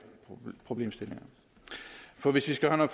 problemstillinger for hvis vi skal have